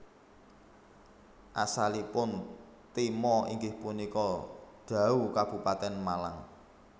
Asalipun Timo inggih punika Dau Kabupaten Malang